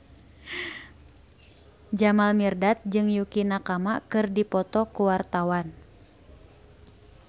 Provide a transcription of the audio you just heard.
Jamal Mirdad jeung Yukie Nakama keur dipoto ku wartawan